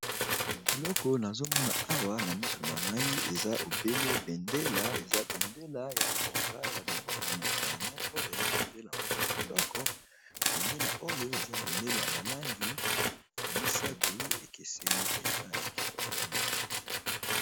Eloko nazomona awa na miso na ngai eza obele bendela eza bendela ya mboka ya mboka mopaya moko ya bendela moko ya kitoko bendela oyo eza bendela ya ba langi misato ekeseni penza ya kitoko mingi.